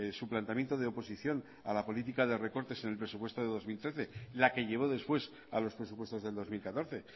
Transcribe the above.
su planteamiento de oposición a la política de recortes en el presupuesto de dos mil trece la que llevó después a los presupuestos del dos mil catorce